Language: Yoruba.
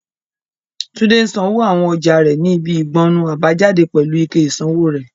Tunde ń sanwó àwọn ọjà rẹ̀ ní ibi ìgbọnnu àbájáde pẹ̀lú ike ìsanwó rẹ̀.